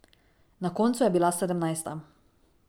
Na koncu je bila sedemnajsta.